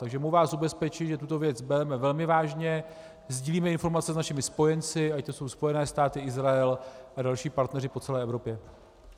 Takže mohu vás ubezpečit, že tuto věc bereme velmi vážně, sdílíme informace s našimi spojenci, ať to jsou Spojené státy, Izrael a další partneři po celé Evropě.